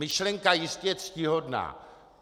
Myšlenka jistě ctihodná.